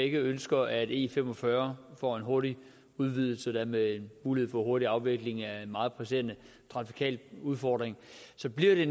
ønsker at e45 får en hurtig udvidelse endda med mulighed for hurtig afvikling af en meget presserende trafikal udfordring så bliver det